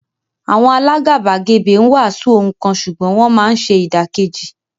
Àwọn alágàbàgebè ń wàásù ohun kan ṣùgbọ́n wọ́n máa ń ṣe ìdàkejì.